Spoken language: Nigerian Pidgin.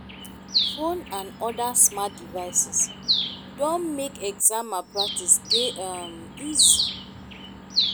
phone and oda smart devices don make exam malpractice dey um easy